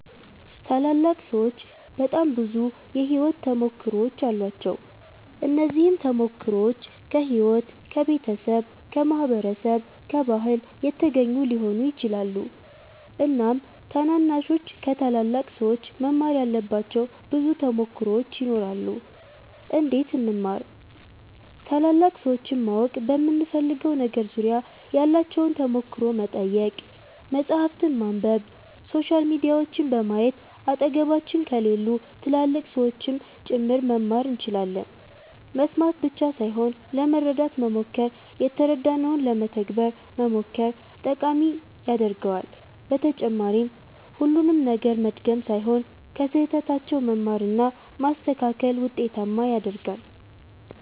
ታላላቅ ሠዎች በጣም ብዙ የሕይወት ተሞክሮዎች አሏቸው። እነዚህም ተሞክሮዎች ከሕይወት፣ ከቤተሰብ፣ ከማህበረሰብ፣ ከባህል የተገኙ ሊሆኑ ይችላሉ። እናም ታናናሾች ከታላላቅ ሠዎች መማር ያለባቸው ብዙ ተሞክሮዎች ይኖራሉ። እንዴት እንማር ?ታላላቅ ሠዎችን ማወቅ በምንፈልገው ነገር ዙሪያ ያላቸውን ተሞክሮ መጠየቅ፣ መፃህፍትን ማንበብ፣ ሶሻል ሚዲያዎችን በማየት አጠገባችን ከሌሉ ትላልቅ ሠዎችም ጭምር መማር እንችላለን መስማት ብቻ ሣይሆን ለመረዳት መሞከር የተረዳነውን ለመተግበር መሞከር ጠቃሚ ያደርገዋል በተጨማሪም ሁሉንም ነገር መድገም ሣይሆን ከሥህተታቸውም መማር እና ማስተካከል ውጤታማ ያደርጋል።